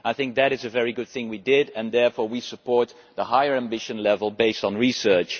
I think that is a very good thing, and we support the higher ambition level based on research.